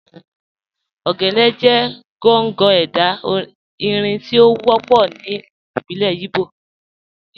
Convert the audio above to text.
Ogene jẹ̀ gọ̀ngọ̀ ẹdá irin tí o wọpọ̀ ní orin ìbílẹ̀ Ìgbò.